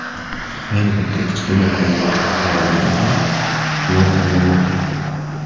Ayni paytda kichkina koalaga nom tanlanmoqda.